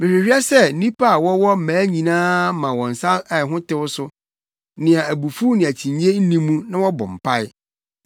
Mehwehwɛ sɛ nnipa a wɔwɔ mmaa nyinaa ma wɔn nsa a ɛho tew so, nea abufuw ne akyinnye nni mu, na wɔbɔ mpae.